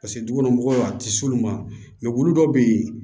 Paseke du kɔnɔ mɔgɔw a ti s'olu ma wulu dɔ be yen